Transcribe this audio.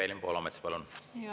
Evelin Poolamets, palun!